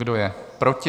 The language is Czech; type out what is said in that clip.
Kdo je proti?